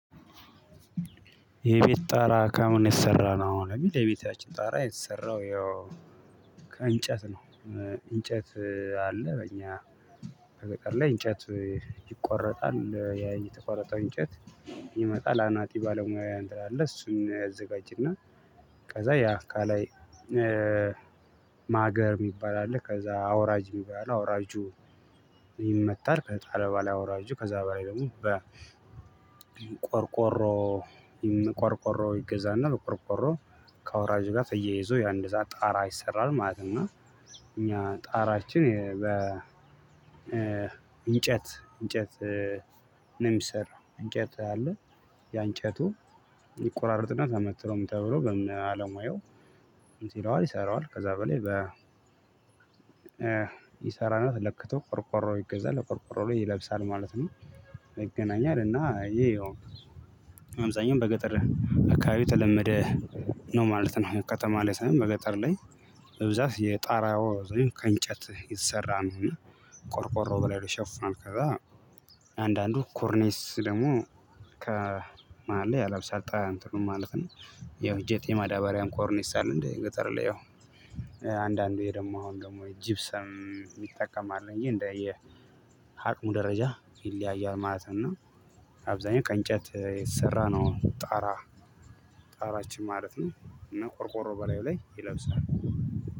የቤት ጣራ ከምን የተሰራ ነው? የሚል የቤታችን ጣራ የተሰራው ያው ከእንጨት ነው እንጨት አለ በእኛ ገጠር ላይ እንጨት ይቆረጣል ያ የተቆረጠው እንጨት ይመጣል አናጢ ባለሙያውያ እንጠራለን እሱን ያዘጋጅና ከዛ ያ ከላይ ማገር የሚባል አለ ከዛ አውራጅ የሚባል አውራጁ ይመታል ከተጣለ በሗላ አውራጁ ከዛ በላይ ደግሞ በቆርቆሮ ቆርቆሮ ይገዛና በቆርቆሮ ከአውራጁ ጋር ተየይዞ ያንድ እዛ ጣራ ይሰራል ማለት እኛ ጣራችን በ እንጨት እንጨት ነው የሚሰራው እንጨት አለ ያ እንጨቱ ይቆራርጥና ተመትሮ ምን ተብሎ በባለሙያው እንትን ይለዋል ይሰራዋል ከዛ በላይ በ ይሰራና ተለክቶ ቆርቆሮ ይገዛል ቆርቆሮ ላይ ይለብሳል ማለት ነው ይገናኛል እና አየው በአብዛኛው በገጠር አካባቢ የተለመደ ነው ማለት ነው ከተማ ላይ ሳይሆን በገጠር ላይ በብዛት የጣራው ዘንድ ከእንጨት የተሰራ ነው ቆርቆሮ በላዩ ላይ ይሸፍናል ከዛ አንዳንዱ ኮርኔስ ደግሞ ከመሃል ላይ ያለብሰል ጣራውን ማለት ነው ያው ጄጥ የማዳበሪያም ኮርኒስ አለ እንዴ ገጠር ላይ አንዳንዴ ደግሞ አሁን ደግሞ ጂፕሰም ይጠቀማል እዬ እንደየ ሀቅሙ ደረጃ ይለያያል ማለት ነው አብዛኛው ከእንጨት የሰራነው ጣራ ጣራችን ማለት ነው እና ቆርቆሮ በላይ ላይ ይለብሳል